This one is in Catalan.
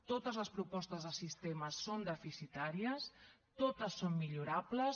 totes les propostes de sistema són deficitàries totes són millorables